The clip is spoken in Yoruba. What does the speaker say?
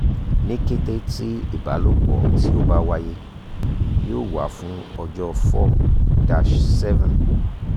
ni kete ti ibalopo ti o ba waye yoo wa fun ọjọ four titi da seven